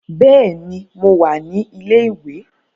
Bẹ́ẹ̀ ni, mo wà ní ilé-ìwé